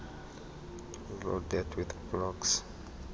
loaded with blocks